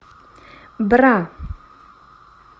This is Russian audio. бра